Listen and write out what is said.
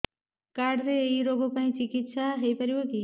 card ରେ ଏଇ ରୋଗ ପାଇଁ ଚିକିତ୍ସା ହେଇପାରିବ କି